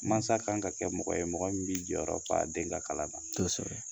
Masa kan ka kɛ mɔgɔ ye mɔgɔ min bɛ jɔyɔrɔ fa a den ka kalan na